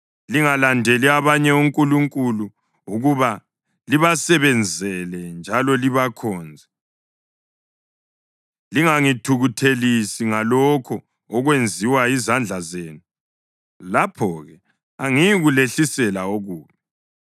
Lingalandeli abanye onkulunkulu ukuba libasebenzele njalo libakhonze; lingangithukuthelisi ngalokho okwenziwa yizandla zenu. Lapho-ke angiyikulehlisela okubi.”